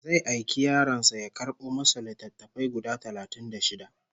Zai aiki yaron sa ya karɓo masa littattafai guda talatin da shida